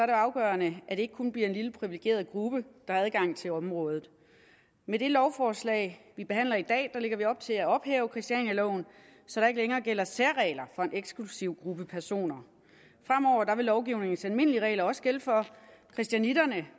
det afgørende at det ikke kun bliver en lille privilegeret gruppe der har adgang til området med det lovforslag vi behandler i dag lægger vi op til at ophæve christianialoven så der ikke længere gælder særregler for en eksklusiv gruppe personer fremover vil lovgivningens almindelige regler også gælde for christianitterne